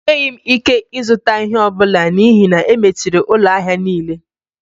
Enweghị m ike ịzụta ihe ọ bụla n'ihi na e mechiri ụlọ ahịa niile